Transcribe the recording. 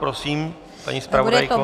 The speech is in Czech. Prosím, paní zpravodajko.